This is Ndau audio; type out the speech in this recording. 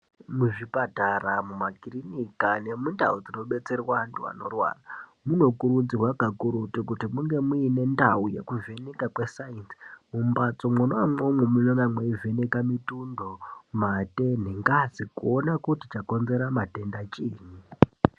Muzvipatara mumakirinika nemundau dzinobatsire antu anorwara munokurudzirwa kakurutu kuti munge muine ndau yekuzvinika kwesaindi .Mumbatso mwona imwomwo mwunenge mwaivheneka mitundo matenhengazi kuone kuti chakonzera matenda chiini